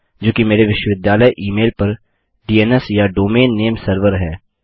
जो कि मेरे विश्वविद्यालय ई मेल पर डीएनएस या डोमेन नामे सर्वर डोमैन नेम सर्वर है